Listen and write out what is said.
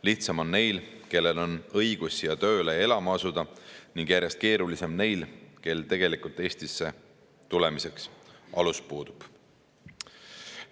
Lihtsam on neil, kellel on õigus siia tööle ja elama asuda, ning järjest keerulisem on neil, kel tegelikult Eestisse tulemiseks alus puudub.